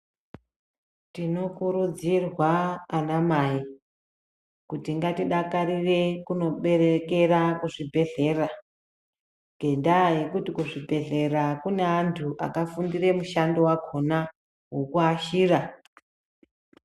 Tinokurudzirwa anamai kuti ngatidakarire kunoberekera kuzvibhedhlera ngendaa yekuti kuzvibhedhlera kune antu akafundire mushando wakhona wokuashira.